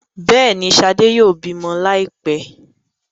Béèni, shade yóò bímọ laipẹ.